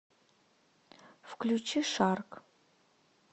включи шарк